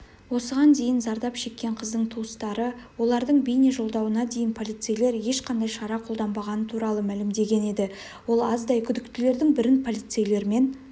осыған дейін зардап шеккен қыздың туыстары олардың бейнежолдауына дейін полицейлер ешқандай шара қолданбағаны туралы мәлімдеген еді ол аздай күдіктілердің бірін полицейлермен